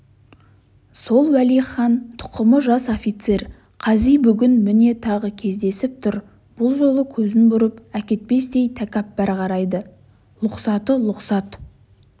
сол уәлихан тұқымы жас офицер қази бүгін міне тағы кездесіп тұр бұл жолы көзін бұрып әкетпестей тәкаппар қарайды лұқсаты лұқсат